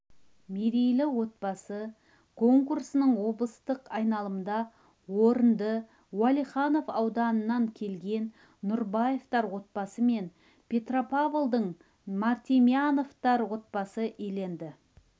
мерейлі отбасы конкурсының облыстық айналымында орынды уалиханов ауданынан келген нұрбаевтар отбасы мен петропавлдың мартемьяновтар отбасы иеленді